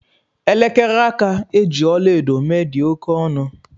Elekere aka e ji ọla edo mee dị oke ọnụ